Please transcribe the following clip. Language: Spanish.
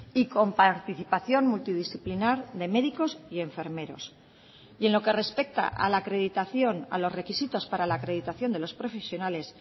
y con participación multidisciplinar de médicos y enfermeros y en lo que respecta a la acreditación a los requisitos para la acreditación de los profesionales